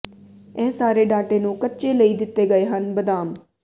ਇਹ ਸਾਰੇ ਡਾਟੇ ਨੂੰ ਕੱਚੇ ਲਈ ਦਿੱਤੇ ਗਏ ਹਨ ਬਦਾਮ